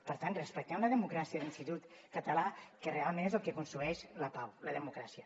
per tant respectem la democràcia de l’institut català que realment és el que construeix la pau la democràcia